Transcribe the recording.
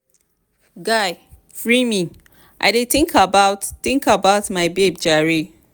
guy free me i dey think about think about my babe jare.